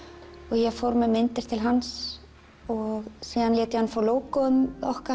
ég fór með myndir til hans og síðan lét hann fá logo ið okkar